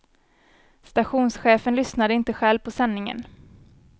Stationschefen lyssnade inte själv på sändningen.